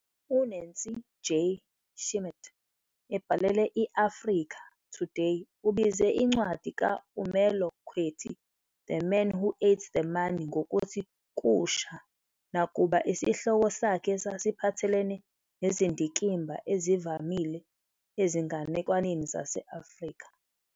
U-Nancy J. Schmidt, ebhalela i-"Africa Today", ubize incwadi ka-Umelo kwethi "The Man Who Ate the Money ngokuthi" "kusha," nakuba isihloko sakhe sasiphathelene nezindikimba ezivamile ezinganekwaneni zase-Afrika.